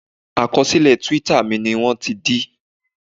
Àkọsílẹ̀ twitter mi ni wọ́n ti dí